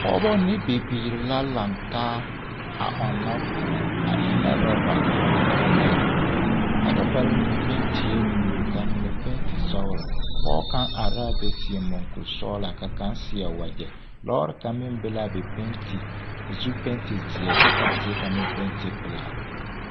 Pɔgebɔ ne bibiiri la lantaa a ɔnnɔ kõɔ a ennɛ rɔbare poɔ ne talaare poɔ a rɔbare mine pentie buluu k'a mine penti sɔgelɔ, pɔge kaŋ are l'a be a seɛ mɔŋkuri sɔgelaa ka kaŋ seɛ wegyɛ, lɔɔre kaŋ meŋ be l'a be penti k'o zu penti zeɛ kyɛ k'a zeɛ kaŋ meŋ penti pelaa.